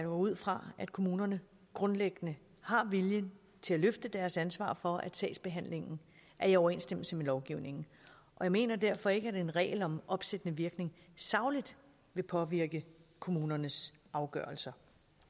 ud fra at kommunerne grundlæggende har viljen til at løfte deres ansvar for at sagsbehandlingen er i overensstemmelse med lovgivningen og jeg mener derfor ikke at en regel om opsættende virkning sagligt vil påvirke kommunernes afgørelser